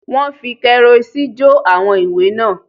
Wọ́n fi kẹ́rọ́ìsì jó àwọn ìwé náà